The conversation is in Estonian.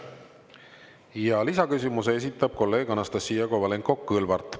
Ja lisaküsimuse esitab kolleeg Anastassia Kovalenko-Kõlvart.